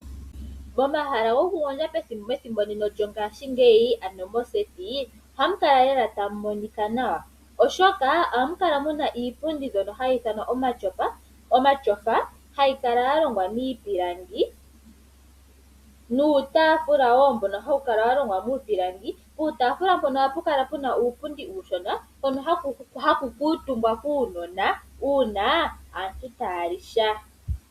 Omahala ngano goku gondja methimbo ndino lyo ngashigeyi ano moseti oha mu kaa lela tamu monika nawa. Oshoka ohamu kala muna iipundi mbyono hayi ithanwa omatyofa hayi kala yalongwa miipilangi nuutafula wo mbono hawu kala wa longwa miipilangi . Puutafula mpono oha pu kala puna uupundi uushona hono haku kuutumbwa kuunona una aantu taya li sha.